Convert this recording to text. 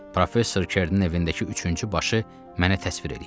Professor Kerinin evindəki üçüncü başı mənə təsvir eləyin.